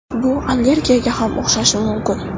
Bu allergiyaga ham o‘xshashi mumkin.